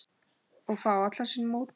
Og fá allan sinn mótbyr.